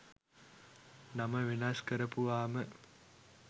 නම වෙනස් කරපුවාම